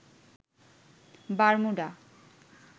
Bermuda